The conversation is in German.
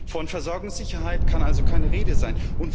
Von Versorgungssicherheit kann also keine Rede sein.